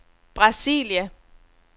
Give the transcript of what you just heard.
Brasilia